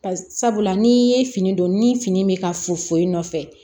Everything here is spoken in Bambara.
Ba sabula n'i ye fini don ni fini bɛ ka fu fu nɔfɛ